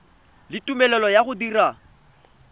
le tumelelo ya go dira